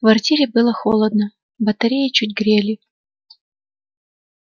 в квартире было холодно батареи чуть грели